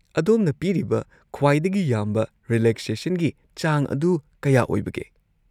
ꯑꯗꯣꯝꯅ ꯄꯤꯔꯤꯕ ꯈ꯭ꯋꯥꯏꯗꯒꯤ ꯌꯥꯝꯕ ꯔꯤꯂꯦꯛꯁꯦꯁꯟꯒꯤ ꯆꯥꯡ ꯑꯗꯨ ꯀꯌꯥ ꯑꯣꯏꯕꯒꯦ?